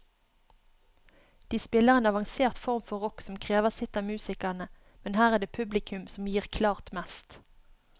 De spiller en avansert form for rock som krever sitt av musikerne, men her er det publikum som gir klart mest.